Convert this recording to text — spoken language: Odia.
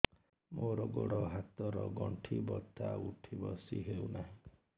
ମୋର ଗୋଡ଼ ହାତ ର ଗଣ୍ଠି ବଥା ଉଠି ବସି ହେଉନାହିଁ